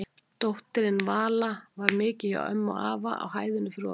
Dóttirin Vala mikið hjá afa og ömmu á hæðinni fyrir ofan.